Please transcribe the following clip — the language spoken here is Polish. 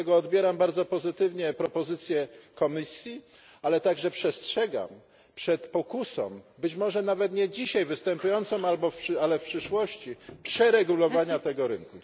Dlatego odbieram bardzo pozytywnie propozycję Komisji, ale także przestrzegam przed pokusą być może nawet nie dzisiaj występującą, ale w przyszłości przeregulowania tego rynku.